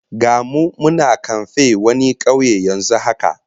Ga mu muna kamfen wani kauye yanzu haka